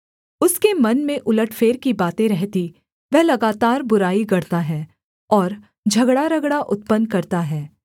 उसके मन में उलटफेर की बातें रहतीं वह लगातार बुराई गढ़ता है और झगड़ारगड़ा उत्पन्न करता है